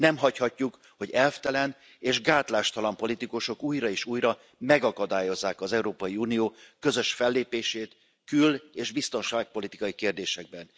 Nem hagyhatjuk, hogy elvtelen és gátlástalan politikusok újra és újra megakadályozzák az Európai Unió közös fellépését kül és biztonságpolitikai kérdésekben.